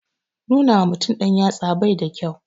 Nuna wa mutum yatsa bai da kyau